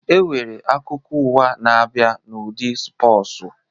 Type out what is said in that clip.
E nwere akụkọ ụwa na-abịa n'ụdị spọsu